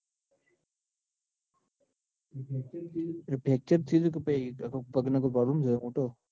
fracture ટ્યુ તું કે પહિ આખું પગ નું મોટું?